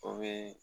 O be